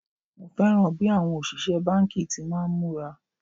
Mo fẹ́ràn bí àwọn òṣìṣẹ́ báńkì ti máa ń múra